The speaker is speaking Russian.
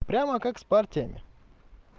прямо как с партиями